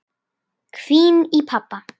hvín í pabba.